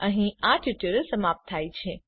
અહીં આ ટ્યુટોરીયલ સમાપ્ત થાય છે